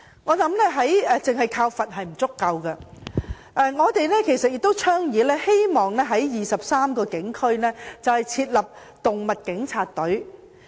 我認為單靠罰款並不足夠，我們倡議並希望在23個警區成立"動物警察"專隊。